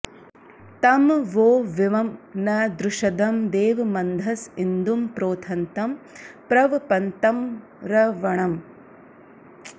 तं वो विं न द्रुषदं देवमन्धस इन्दुं प्रोथन्तं प्रवपन्तमर्णवम्